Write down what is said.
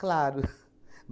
Claro.